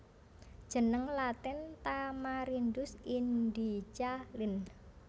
Jeneng Latin Tamarindus indica Linn